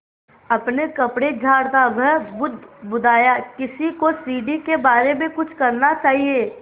अपने कपड़े झाड़ता वह बुदबुदाया किसी को सीढ़ी के बारे में कुछ करना चाहिए